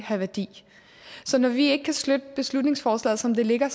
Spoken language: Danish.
have værdi så når vi ikke kan støtte beslutningsforslaget som det ligger